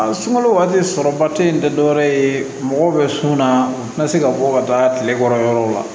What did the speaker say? A sunkalo waati sɔrɔbati in tɛ dɔwɛrɛ ye mɔgɔw bɛ sunaa u tɛna se ka bɔ ka taa tile kɔrɔ yɔrɔ la